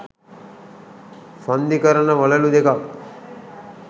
සන්ධිකරන වළලූ දෙකක්